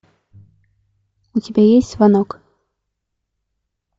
у тебя есть звонок